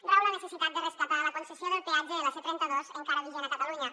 rau la necessitat de rescatar la concessió del peatge de la c trenta dos encara vigent a catalunya